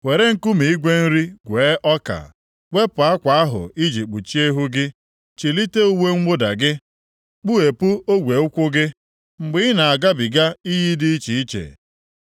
Were nkume igwe nri gwee ọka, wepụ akwa ahụ i ji kpuchie ihu gị. Chilite uwe mwụda gị, kpughepụ ogwe ụkwụ gị, mgbe ị na-agabiga iyi dị iche iche.